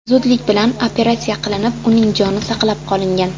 zudlik bilan operatsiya qilinib, uning joni saqlab qolingan.